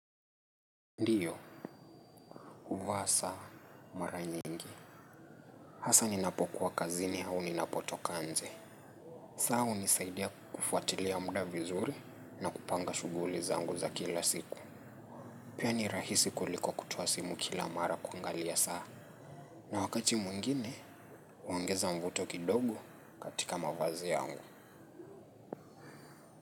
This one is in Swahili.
Ndiyo, uva saa mara nyingi. Hasa ninapokuwa kazini hau ninapotokanje. Saa hunisaidia kufuatilia muda vizuri na kupanga shuguli zangu za kila siku. Pia ni rahisi kuliko kutoa simu kila mara kuangalia saa. Na wakati mwingine, uongeza mvuto kidogo katika mavazi yangu.